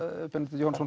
Benedikt Jóhannesson